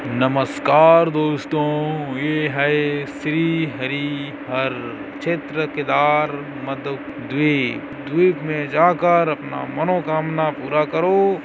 नमस्कार दोस्तों ये है श्री हरि हर क्षेत्र केदार मधूक द्वीप द्वीप में जाकर अपना मनोकामना पूरा करो।